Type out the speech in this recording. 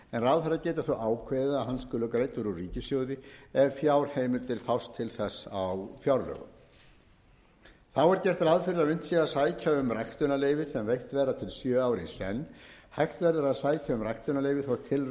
ráðherra geti þó ákveðið að hann skuli greiddur úr ríkissjóði ef fjárheimildir fást til þess á fjárlögum þá er gert ráð fyrir að unnt sé að sækja um ræktunarleyfi sem veitt verða til sjö ára í senn hægt verður að sækja